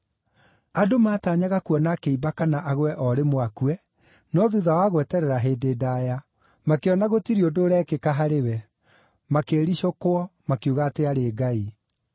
Andũ maataanyaga kuona akĩimba kana agwe o rĩmwe akue, no thuutha wa gweterera hĩndĩ ndaaya, makĩona gũtirĩ ũndũ ũtarĩ wa ndũire ũrekĩka harĩ we, makĩĩricũkwo makiuga atĩ aarĩ ngai.